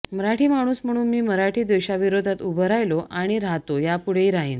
मराठी माणूस म्हणून मी मराठी द्वेषाविरोधात उभं राहिलो आणि राहतो यापुढेही राहिन